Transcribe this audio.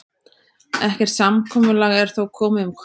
Ekkert samkomulag er þó komið um kaupverð.